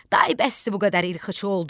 day bəsdir bu qədər ilxıçı oldun.